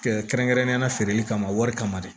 kɛrɛnkɛrɛnnenyala feereli kama wari kama dɛ